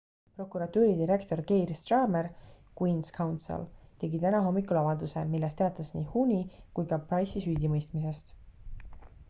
prokuratuuri direktor keir starmer queen's counsel tegi täna hommikul avalduse milles teatas nii huhne’i kui ka pryce’i süüdimõistmisest